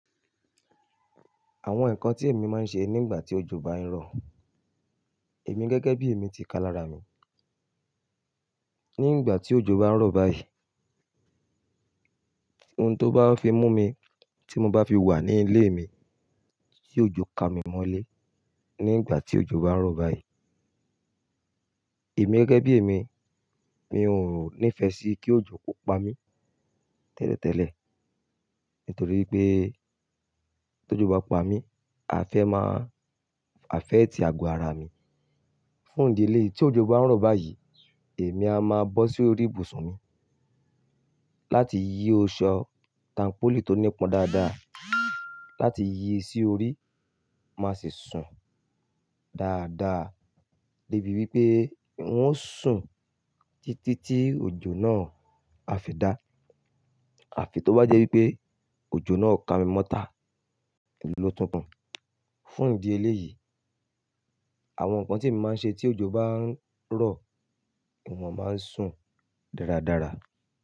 Àwọn nǹkan tí èmi máa ń ṣe nígbà tí òjò bá ń rọ̀, èmi gẹ́gẹ́ bí èmi ti kalara mi. Nígbà tí òjò bá ń rọ̀ báyìí, ohun tó bá fi mú mi, tí mo bá fi wà ní ilé mi, tí òjò ka mi mọ́lé. Nígbà tí òjò bá ń rọ̀ báyìí, èmi gẹ́gẹ́ bí èmi, mi ò nífẹ̀ẹ́ sí kí òjò kó pa mí tẹ́lẹ̀tẹ́lẹ̀. Nítorí pé tó jo bá pa mí, àfé máa, àfẹ̀ti ago ara mi. Fún ìdí eléyìí tí òjò bá ń rọ̀ báyìí, èmi a máa bọ́ sí orí ìbùsùn mi láti yí ṣọ́ tannpòlí tó nípọn dáadáa, láti yí i sí orí, má sì sùn dáadáa débi wípé n ó sùn títí tí òjò náà a fi dá. Àfi tó bá jẹ́ wípé òjò náà ka mi mọ́ta, òun ló tún kan. Fún ìdí eléyìí, àwọn nǹkan tí èmi máa ń ṣe tí òjò bá ń rọ̀, ìwọ̀n máa ń sùn dáradára.